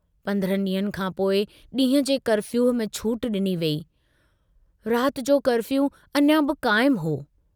पन्द्रहनि ड्रींहंनि खां पोइ डींहं जे कर्फ़ियूअ में छूट डिनी वेई, रात जो कर्फ़ियू अञां बि काइमु हो।